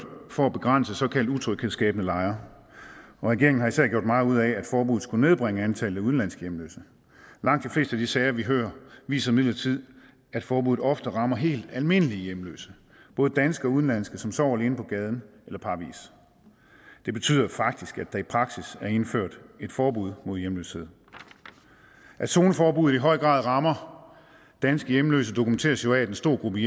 for at begrænse såkaldt utryghedsskabende lejre regeringen har især gjort meget ud af at forbuddet skulle nedbringe antallet af udenlandske hjemløse langt de fleste af de sager vi hører viser imidlertid at forbuddet ofte rammer helt almindelige hjemløse både danske og udenlandske som sover alene på gaden eller parvis det betyder faktisk at der i praksis er indført et forbud mod hjemløshed at zoneforbuddet i høj grad rammer danske hjemløse dokumenteres jo af at en stor gruppe